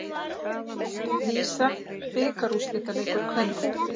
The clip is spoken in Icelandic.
VISA bikarúrslitaleikur kvenna